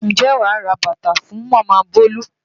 Ǹjẹ́ wàá ra bàtà fún Màmá Bolu?